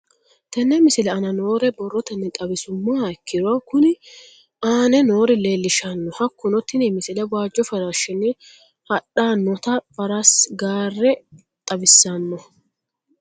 Tenne misile aana noore borrotenni xawisummoha ikirro kunni aane noore leelishano. Hakunno tinni misile waajo faarishshinni hadhdhanota farasi gaare xawissanno.